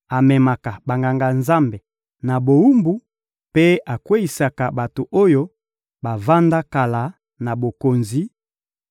amemaka Banganga-Nzambe na bowumbu mpe akweyisaka bato oyo bavanda kala na bokonzi;